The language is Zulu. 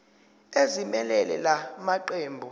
ezimelele la maqembu